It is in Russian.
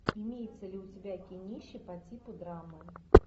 имеется ли у тебя кинище по типу драмы